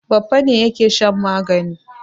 Baffa ne yake shan magani.